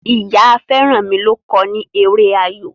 Ìyá Feranmi ló kọ ni èrè ayọ.